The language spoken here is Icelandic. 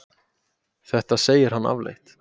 þetta segir hann afleitt